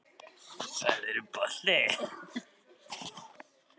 Dagmann, er bolti á föstudaginn?